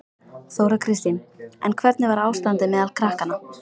Þóra Kristín: En hvernig var ástandið meðal krakkanna?